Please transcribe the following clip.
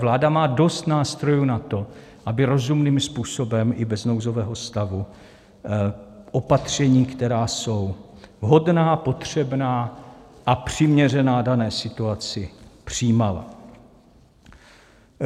Vláda má dost nástrojů na to, aby rozumným způsobem i bez nouzového stavu opatření, která jsou vhodná, potřebná a přiměřená dané situaci, přijímala.